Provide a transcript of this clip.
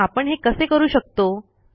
पण आपण हे कसे करू शकतो